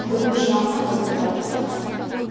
бүгінгі жиналыстан біз қолдау таптық